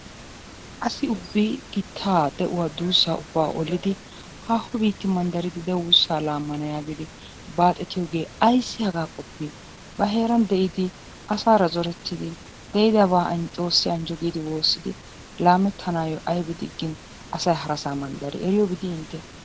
Asi ubbi gitaa de'uwaa duussa ollidi haaho biitta manddaridi de'uwaa duussaa lammana yaagidi baxxetiyoogee ayssi hagaa qopii? Ba heeran de'idi, asaara zorettidi, de'idaaba Xoossi anjjo giidi woossidi laammettanyyo aybi diggin asay harassa manddari, eriyoobi dii intte?